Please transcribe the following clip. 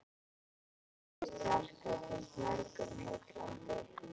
Tónlist Bjarkar finnst mörgum heillandi.